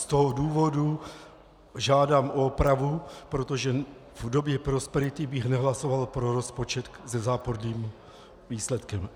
Z toho důvodu žádám o opravu, protože v době prosperity bych nehlasoval pro rozpočet se záporným výsledkem.